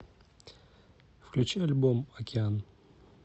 включи альбом океан